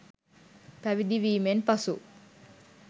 පැවිදි වීමෙන් පසු